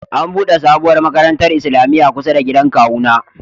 An'bude sabowar makarantan islamia kusa da gidan kawu na.